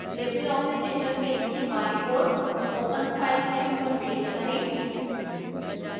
libreoffice interface के बाएं ओर open file menu पर click करें